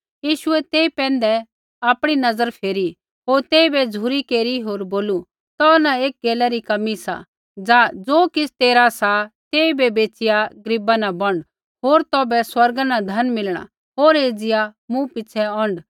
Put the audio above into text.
यीशुऐ तेई पैंधै आपणी नज़रा फेरी होर तेइबै झ़ुरी केरी होर बोलू तो न एकी गैला री कमी सा जा ज़ो किछ़ तेरा सा तेइबै बैचिया गरीबा न बौंड होर तौभै स्वर्गा न धन मिलणा होर एज़िया मूँ पिछ़ै औंढ